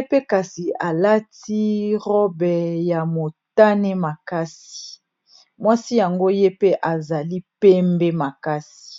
mpe kasi alati robe ya motane makasi mwasi yango ye pe azali pembe makasi.